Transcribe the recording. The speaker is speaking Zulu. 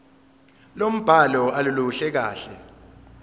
lombhalo aluluhle kahle